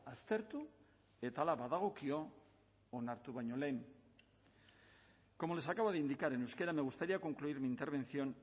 aztertu eta hala badagokio onartu baino lehen como les acabo de indicar en euskera me gustaría concluir mi intervención